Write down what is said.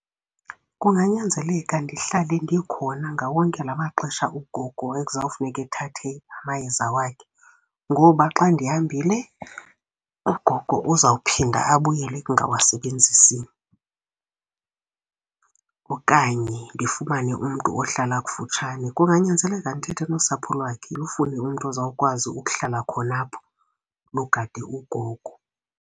Kunganyanzeleka ndihlale ndikhona ngawo onke la maxesha ugogo ekuzawufuneka ethathe amayeza wakhe ngoba xa ndihambile, ugogo uzawuphinda abuyele ekungawasebenzisini. Okanye ndifumane umntu ohlala kufutshane. Kunganyanzeleka ndithethe nosapho lwakhe, lufune umntu ozawukwazi ukuhlala khona apho lugade ugogo.